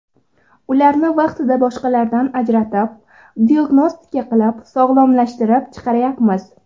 Ularni vaqtida boshqalardan ajratib, diagnostika qilib, sog‘lomlashtirib chiqaryapmiz.